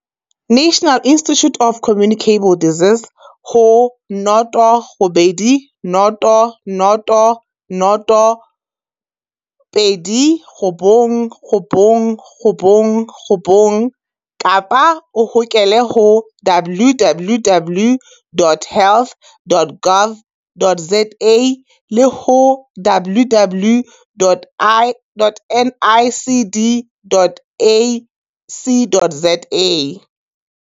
National Institute of Communicable Disease ho 0800 029 999 kapa o hokele ho www.health.gov.za le ho www.nicd.ac.za